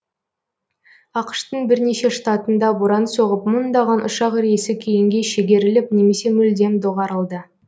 ақш тың бірнеше штатында боран соғып мыңдаған ұшақ рейсі кейінге шегеріліп немесе мүлдем доғарылды